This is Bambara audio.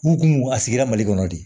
U kun a sigira mali kɔnɔ de